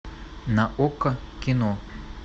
на окко кино